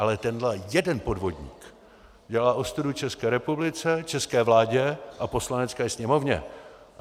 Ale tenhle jeden podvodník dělá ostudu České republice, české vládě a Poslanecké sněmovně.